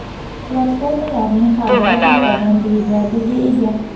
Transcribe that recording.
Platformalarning har biri to‘rttadan dvigatelga ega.